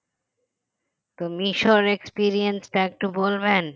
মিশোর experience টা একটু বলবেন